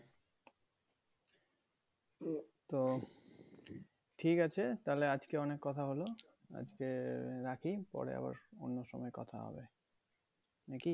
তো ঠিক আছে তাহলে আজকে অনেক কথা হল আজকে রাখি পরে আবার অন্য সময় কথা হবে নাকি